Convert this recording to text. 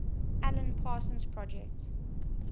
alan parsons project